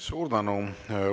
Suur tänu!